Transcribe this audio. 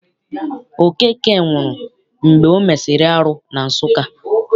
Okeke nwụrụ mgbe o mesịrị arụ na Nsụka.